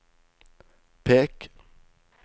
pek